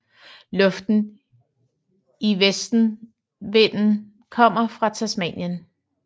Luften i vestenvinden kommer fra Tasmanien